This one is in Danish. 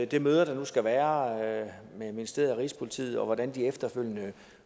det møde der nu skal være mellem ministeriet og rigspolitiet og hvordan det efterfølgende